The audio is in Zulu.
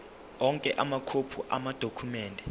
onke amakhophi amadokhumende